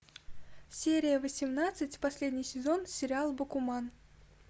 серия восемнадцать последний сезон сериал бакуман